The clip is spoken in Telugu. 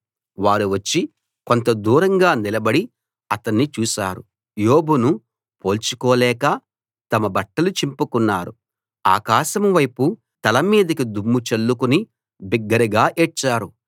వారు వచ్చి కొంత దూరంగా నిలబడి అతణ్ణి చూశారు యోబును పోల్చుకోలేక తమ బట్టలు చింపుకున్నారు ఆకాశం వైపు తల మీదికి దుమ్ము చల్లుకుని బిగ్గరగా ఏడ్చారు